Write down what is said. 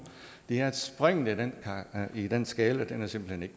er at springene i den skala simpelt hen ikke